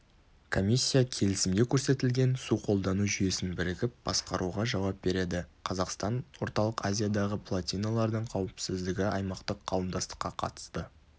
комиссия келісімде көрсетілген су қолдану жүйесін бірігіп басқаруға жауап береді қазақстан орталық азиядағы плотиналардың қауіпсіздігі аймақтық қауымдастыққа қатысты